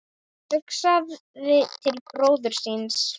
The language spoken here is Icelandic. Hugsaði til bróður síns.